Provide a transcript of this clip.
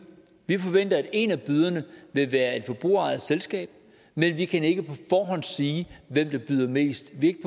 vi forventer at en af byderne vil være et forbrugerejet selskab men vi kan ikke på forhånd sige hvem der byder mest vi